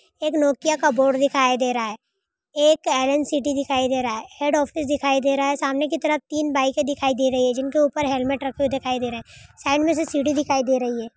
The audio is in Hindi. एक नोकिया का बोर्ड दिखाई दे रहा है। एक आइरन सीटी दिखाई दे रहा है। हेड ऑफिस दिखाई दे रहा है। सामने की तरफ तीन बाइके दिखाई दे रही है। जिनके ऊपर हेलमेट रखे हुए दिखाई दे रहे हैं। साइड मे से सीढ़ी दिखाई दे रही है।